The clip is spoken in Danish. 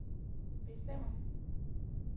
bestemmer